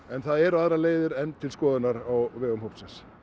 en það eru aðrar leiðir enn til skoðunar á vegum hópsins